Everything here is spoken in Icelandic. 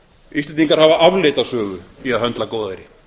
íslendingar hafa afleita sögu í að höndla góðæri